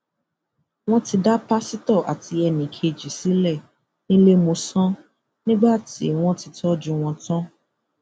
wọn ti dá pásítọ àti ẹnì kejì sílẹ níléemọsán nígbà tí wọn ti tọjú wọn tán